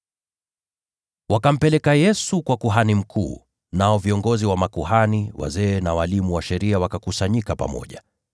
Wakampeleka Yesu kwa kuhani mkuu, nao viongozi wa makuhani wote, na wazee na walimu wa sheria wote wakakusanyika pamoja.